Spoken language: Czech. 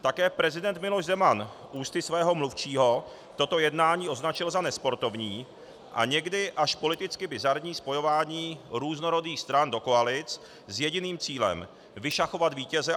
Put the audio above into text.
Také prezident Miloš Zeman ústy svého mluvčího toto jednání označil za nesportovní a někdy až politicky bizarní spojování různorodých stran do koalic s jediným cílem: vyšachovat vítěze.